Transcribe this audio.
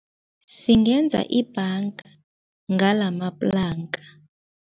Singenza ibhanga ngalamaplanka.